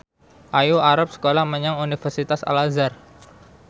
Ayu arep sekolah menyang Universitas Al Azhar